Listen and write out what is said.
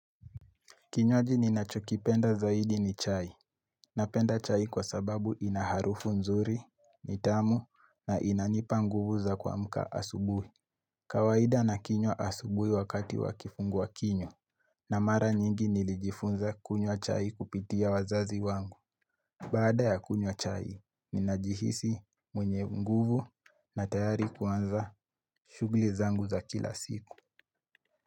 Kinywaji ninachokipenda zaidi ni chai. Napenda chai kwa sababu inaharufu nzuri, nitamu, na inanipa nguvu za kuamka asubuhi. Kawaida na kinywa asubuhi wakati wa kifungua kinywa na mara nyingi nilijifunza kunywa chai kupitia wazazi wangu. Bada ya kunywa chai, ninajihisi mwenye nguvu na tayari kuanza shughuli zangu za kila siku.